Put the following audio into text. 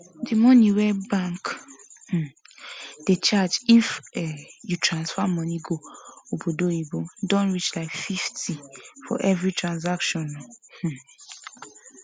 the money wey bank um dey charge if um you transfer money go obodoyibo don reach like 50 for every transaction um